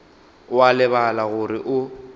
o a lebala gore o